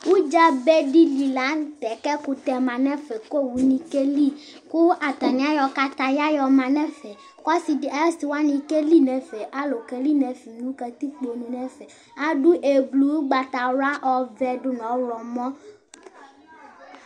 udzɑbɛdili lɑnutɛ kɛkutɛ mɑnɛfɛ ku owukɛli kuɑtɑniɑyo kɑtɑyɑ yɔmɑnɛfɛ kạsiwạ kɛlinɛfɛ ɑlukɛlinɛfɛ ɑd ɛblu ukpɑtɑwlɑ ɔvɛ dunɔhlomɔ